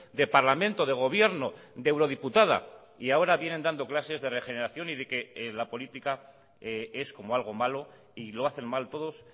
de parlamento de gobierno de eurodiputada y ahora vienen dando clases de regeneración y de que la política es como algo malo y lo hacen mal todos